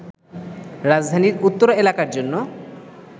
রাজধানীর উত্তরা এলাকার জন্য